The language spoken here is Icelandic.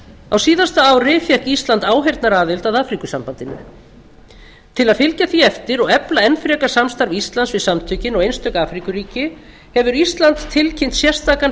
á síðasta ári fékk ísland áheyrnaraðild að afríkusambandinu til að fylgja því eftir og efla enn frekar samstarf íslands við samtökin og einstök afríkuríki hefur ísland tilkynnt sérstakan